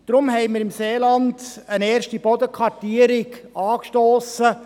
Deshalb haben wir im Seeland eine erste Bodenkartierung angestossen.